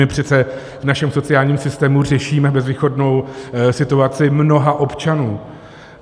My přece v našem sociálním systému řešíme bezvýchodnou situaci mnoha občanů.